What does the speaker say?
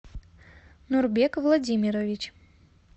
нурбек владимирович